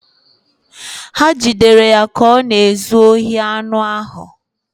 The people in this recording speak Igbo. Ha jidere ya ka ọ na-ezu ohi anụ ahụ